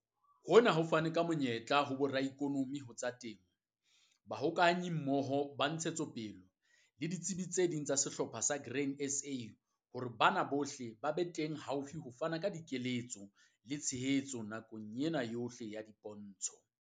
Hona ho fane ka monyetla ho boraikonomi ho tsa temo, Bahokahanyimmoho ba Ntshetsopele le ditsebi tse ding tsa sehlopha sa Grain SA hore bana bohle ba be teng haufi ho fana ka keletso le tshehetso nakong yohle ya dipontsho.